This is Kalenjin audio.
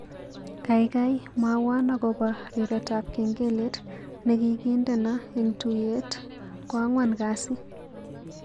Gaigai mwawon agoba riretab kengelet negigindeno eng tuiyet ko angwan kasi